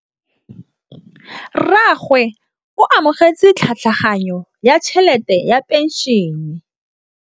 Rragwe o amogetse tlhatlhaganyô ya tšhelête ya phenšene.